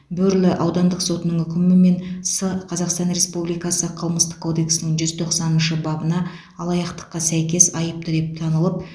бөрлі аудандық сотының үкімімен с қазақстан республикасы қылмыстық кодексінің жүз тоқсаныншы бабына алаяқтыққа сәйкес айыпты деп танылып